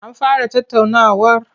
An fara tattaunawar?